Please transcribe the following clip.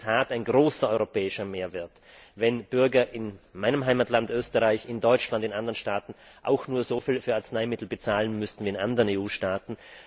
Es wäre in der Tat ein großer europäischer Mehrwert, wenn Bürger in meinem Heimatland Österreich, in Deutschland und in anderen Staaten auch nur so viel für Arzneimittel bezahlen müssten wie in anderen EU Staaten.